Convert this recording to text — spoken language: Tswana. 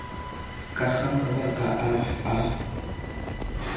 ka ga mabaka a a